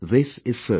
This is certain